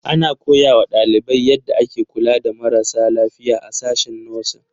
Ana koya wa ɗalibai yadda ake kula da marasa lafiya a sashen 'Nursing'.